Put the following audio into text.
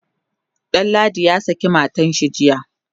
Danladi ya saki matanshi jiya